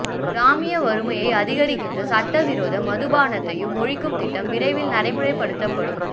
கிராமிய வறுமையை அதிகரிக்கின்ற சட்டவிரோத மதுபானத்தையும் ஒழிக்கும் திட்டம் விரைவில் நடைமுறைப்படுத்தப்படும்